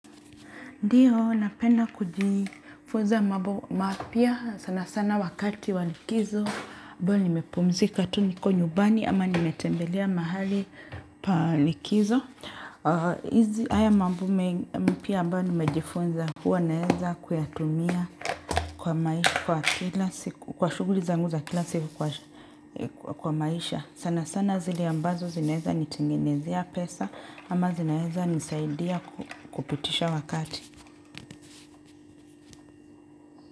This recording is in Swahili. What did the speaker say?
Ndio, napena kujifunza mambo mapya sana sana wakati wa likizo. Ikuwa nimepumzika tu niko nyumbani ama nimetembelea mahali pa likizo. Haya mambo mpya ambayo nimejifunza huwa naeza kuyatumia kwa maisha kwa kila siku. Kwa shuguli zanguza kila siku kwa maisha. Sana sana zile ambazo zinaezanitengenezea pesa ama zinaezanisaidia kupitisha wakati.